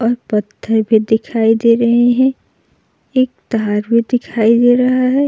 पत्थर भी दिखाई दे रहे हैं। एक तार भी दिखाई दे रहा है।